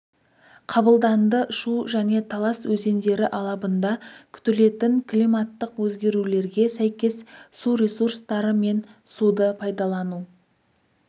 қабылданды шу және талас өзендері алабында күтілетін климаттық өзгерулерге сәйкес су ресурстары мен суды пайдалану